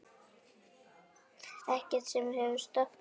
Ekkert sem hefur stoppað mig.